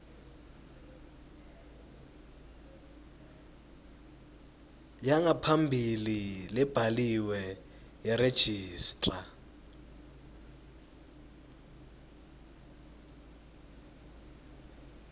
yangaphambilini lebhaliwe yeregistrar